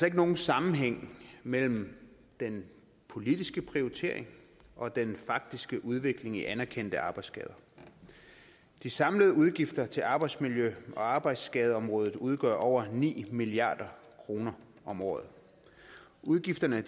ikke nogen sammenhæng mellem den politiske prioritering og den faktiske udvikling i anerkendte arbejdsskader de samlede udgifter til arbejdsmiljø og arbejdsskadeområdet udgør over ni milliard kroner om året udgifterne